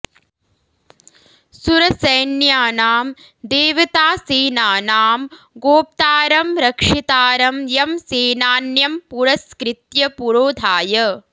सुरसैन्यानां देवतासेनानां गोप्तारं रक्षितारं यं सेनान्यं पुरस्कृत्य पुरोधाय